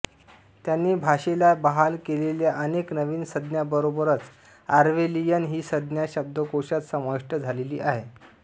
त्याने भाषेला बहाल केलेल्या अनेक नवीन संज्ञांबरोबरच ऑर्वेलियन ही संज्ञा शब्दकोशांत समाविष्ट झालेली आहे